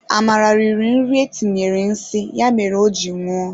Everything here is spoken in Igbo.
Amara riri nri etinyere nsi ya mere o ji nwụọ